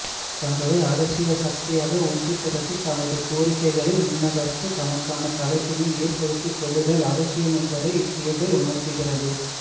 தங்களை அரசியல் சக்தியாக ஒன்றுதிரட்டி தமது கோரிக்கைகளை முன்னக்ர்த்த தமக்கான தளத்தினை ஏற்படுத்திக்கொள்ளுதல் அவசியம் என்பதை இத்தேர்தல் உணர்த்துகிறது